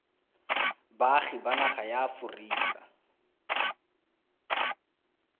baagi ba naga ya aforika